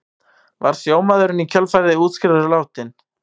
Var sjómaðurinn í kjölfarið úrskurðaður látinn